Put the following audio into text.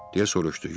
Deyə soruşdu.